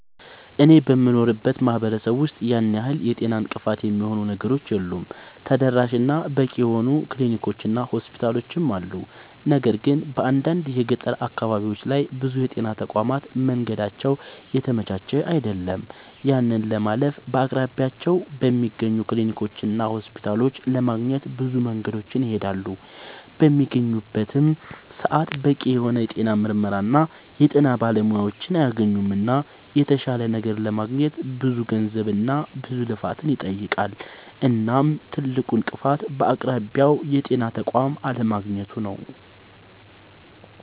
አኔ በምኖርበት ማህበረሰብ ውስጥ ያን ያህል የጤና እንቅፋት የሚሆኑ ነገሮች የሉም ተደራሽ እና በቂ የሆኑ ክሊኒኮች እና ሆስፒታሎችም አሉ። ነገር ግን በአንዳንድ የገጠር አካባቢዎች ላይ ብዙ የጤና ተቋማት መንገዳቸው የተመቻቸ አይደለም። ያንን ለማለፍ በአቅራቢያቸው በሚገኙ ክሊኒኮችና ሆስፒታሎች ለማግኘት ብዙ መንገድን ይሄዳሉ። በሚያገኙበትም ሰዓት በቂ የሆነ የጤና ምርመራና የጤና ባለሙያዎችን አያገኙምና የተሻለ ነገር ለማግኘት ብዙ ገንዘብና ብዙ ልፋትን ይጠይቃል። እናም ትልቁ እንቅፋት በአቅራቢያው የጤና ተቋም አለማግኘቱ ነዉ